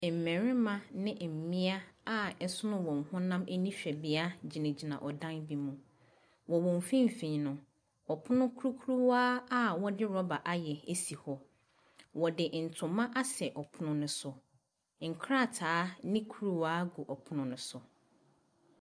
Mmarima ne mmea a ɛsono wɔn honam anihwɛbea gyinagyina ɛdan bi mu. Wɔ wɔn mfimfini no, ɔpono krokrowa a wɔde rubber ayɛ si hɔ. wɔde ntoma asɛ ɔpono no so. Nkrataa ne kuruwa gu ɔpono no so.